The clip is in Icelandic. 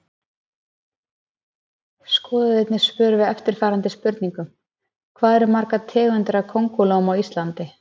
Skoðið einnig svör við eftirfarandi spurningum: Hvað eru margar tegundir af kóngulóm á Íslandi?